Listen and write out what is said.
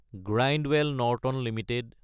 Grindwell Norton Ltd